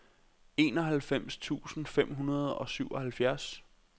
enoghalvfems tusind fem hundrede og syvoghalvfjerds